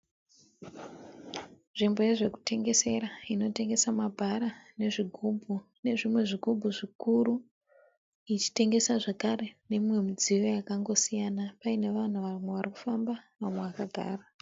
Nzvimbo yezvekutengesera. Inotengesa mabhara nezvigumbu nezvimwe zvigubhu zvikuru. Ichitengesa zvikare nemimwe midziyo yangosiyana. Paine vanhu vamwe varikufamba vamwe vakagara.